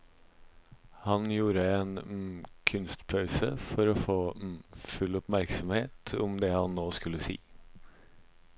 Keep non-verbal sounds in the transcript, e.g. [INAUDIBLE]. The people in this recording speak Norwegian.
Han gjorde en [HESITATION] kunstpause for å få [HESITATION] full oppmerksomhet om det han nå skulle si.